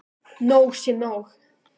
Nóg sé nóg!